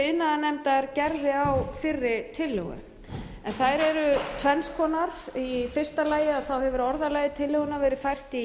iðnaðarnefndar gerði á fyrri tillögu þær eru tvenns konar í fyrsta lagi hefur orðalagi tillögunnar verið fært í